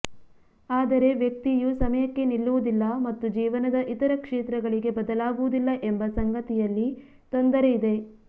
ಆದರೆ ವ್ಯಕ್ತಿಯು ಸಮಯಕ್ಕೆ ನಿಲ್ಲುವುದಿಲ್ಲ ಮತ್ತು ಜೀವನದ ಇತರ ಕ್ಷೇತ್ರಗಳಿಗೆ ಬದಲಾಗುವುದಿಲ್ಲ ಎಂಬ ಸಂಗತಿಯಲ್ಲಿ ತೊಂದರೆ ಇದೆ